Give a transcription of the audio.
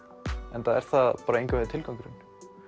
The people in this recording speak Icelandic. enda er það engan veginn tilgangurinn